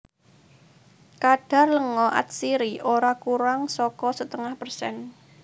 Kadhar lenga atsiri ora kurang saka setengah persen